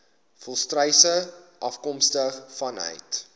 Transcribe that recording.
volstruise afkomstig vanuit